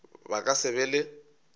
ba ka se be le